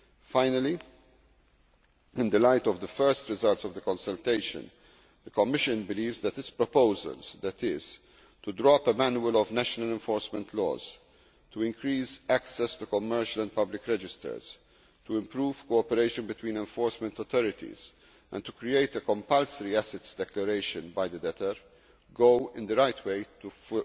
Finally, in the light of the first results of the consultation, the Commission believes that this proposal that is, to draw up a manual of national enforcement laws, to increase access to commercial and public registers, to improve cooperation between enforcement authorities and to create a compulsory assets declaration by the debtor will go some way towards